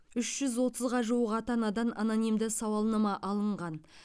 үш жүз отызға жуық ата анадан анонимді сауалнама алынған